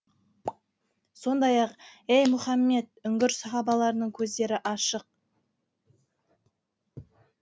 сондай ақ ей мұхаммед үңгір сахабаларының көздері ашық